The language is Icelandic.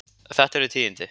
Þetta eru tíðindi.